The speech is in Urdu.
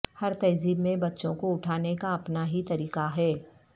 ہر تہذیب میں بچوں کو اٹھانے کا اپنا ہی طریقہ ہے